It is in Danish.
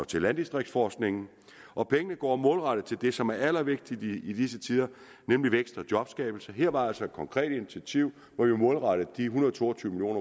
til landdistriktsforskningen og pengene går målrettet til det som er allervigtigst i disse tider nemlig vækst og jobskabelse her var altså et konkret initiativ hvor vi har målrettet de en hundrede og to og tyve